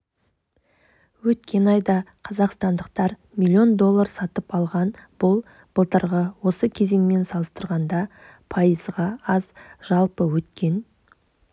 өткен айда қазақстандықтар млн доллар сатып алған бұл былтырғы осы кезеңмен салыстырғанда пайызға аз жалпы өткен